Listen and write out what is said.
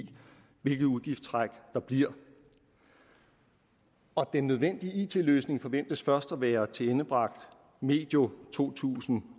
hvilket udgiftstræk der bliver og den nødvendige it løsning forventes først at være tilendebragt medio to tusind